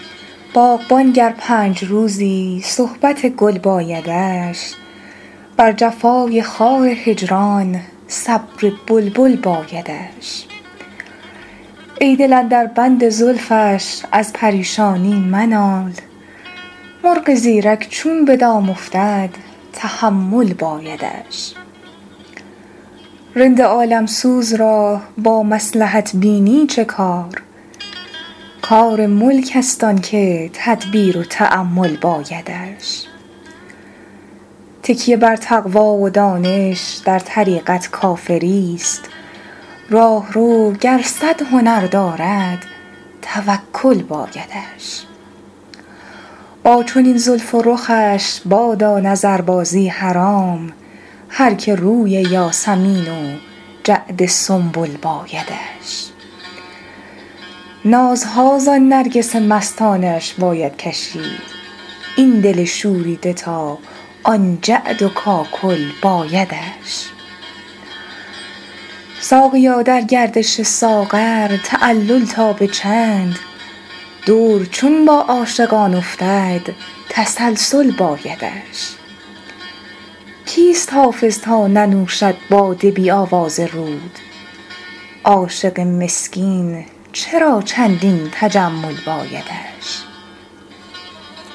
باغبان گر پنج روزی صحبت گل بایدش بر جفای خار هجران صبر بلبل بایدش ای دل اندر بند زلفش از پریشانی منال مرغ زیرک چون به دام افتد تحمل بایدش رند عالم سوز را با مصلحت بینی چه کار کار ملک است آن که تدبیر و تأمل بایدش تکیه بر تقوی و دانش در طریقت کافری ست راهرو گر صد هنر دارد توکل بایدش با چنین زلف و رخش بادا نظربازی حرام هر که روی یاسمین و جعد سنبل بایدش نازها زان نرگس مستانه اش باید کشید این دل شوریده تا آن جعد و کاکل بایدش ساقیا در گردش ساغر تعلل تا به چند دور چون با عاشقان افتد تسلسل بایدش کیست حافظ تا ننوشد باده بی آواز رود عاشق مسکین چرا چندین تجمل بایدش